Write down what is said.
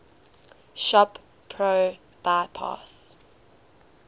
shop pro bypass